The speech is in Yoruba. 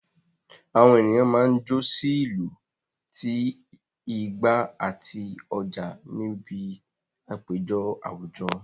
Àwọn ènìyàn máa ń jó sí ìlù ti igba àti oja níbi àpéjọ àwùjọ